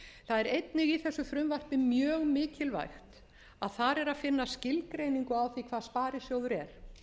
er einnig í þessu frumvarpi mjög mikilvægt að þar er að finna skilgreiningu á því hvað sparisjóður er